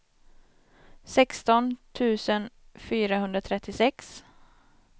sexton tusen fyrahundratrettiosex